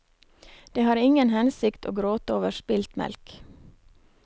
Det har ingen hensikt å gråte over spilt melk.